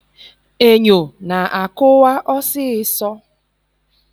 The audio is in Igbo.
Enyo na akụwa ọsịsọ.